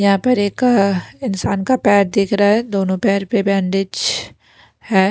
यहां पर एक इंसान का पैर दिख रहा है दोनों पैर पे बैंडेज है।